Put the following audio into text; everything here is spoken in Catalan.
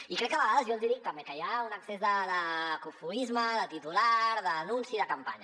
i crec que a vegades i jo els hi dic també hi ha un excés de cofoisme de titular d’anunci de campanya